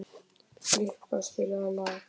Filippa, spilaðu lag.